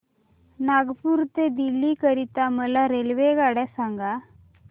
नागपुर ते दिल्ली करीता मला रेल्वेगाड्या सांगा